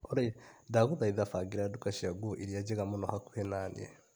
Olĩ ndagũthaitha bangĩra nduka cia nguo iria njega mũno hakuhĩ naniĩ .